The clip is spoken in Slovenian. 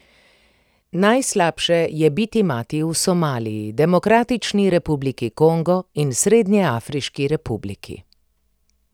Najslabše je biti mati v Somaliji, Demokratični republiki Kongo in Srednjeafriški republiki.